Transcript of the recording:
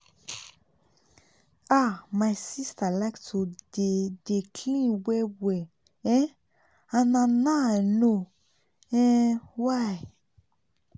ah my sister like to dey dey clean well well[um]and na now i know um why